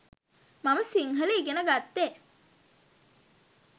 මම සිංහල ඉගෙන ගත්තෙ.